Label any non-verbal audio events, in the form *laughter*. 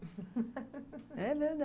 *laughs* É